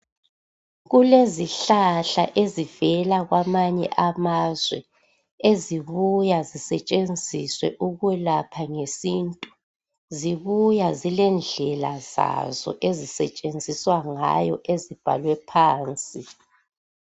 Kulezihlahla ezivela kwamanye amazwe ezibuya zisetshenziswa ukulapha ngesintu, zibuya zilendlela zazo ezisetshenziswa ngayo ezibhalwe phansi.